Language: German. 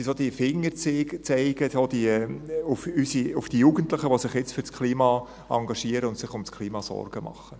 Es sind so diese Fingerzeige auf die Jugendlichen, die sich jetzt für das Klima engagieren und sich um das Klima Sorgen machen.